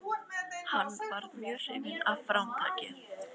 Hann varð mjög hrifinn af framtaki